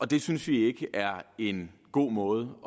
det synes vi ikke er en god måde